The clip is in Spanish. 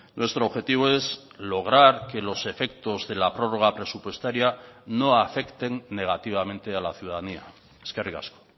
nuestro objetivo es lograr que los efectos de la prórroga presupuestaria no afecten negativamente a la ciudadanía eskerrik asko